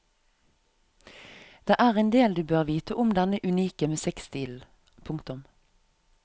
Det er endel du bør vite om denne unike musikkstilen. punktum